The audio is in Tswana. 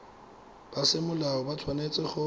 ba semolao ba tshwanetse go